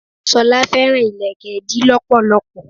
Sola fẹ́ràn ìlékè ìdí lọpọlọpọ.